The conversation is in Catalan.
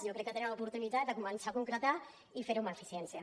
jo crec que tenen l’oportunitat de començar a concretar ho i fer ho amb eficiència